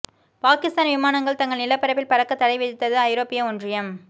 பாகிஸ்தான் விமானங்கள் தங்கள் நிலப்பரப்பில் பறக்கத் தடை விதித்தது ஐரோப்பிய ஒன்றியம்